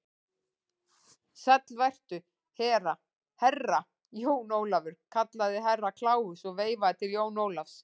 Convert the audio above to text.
Sæll vertu, Herra Jón Ólafur, kallaði Herra Kláus og veifaði til Jóns Ólafs.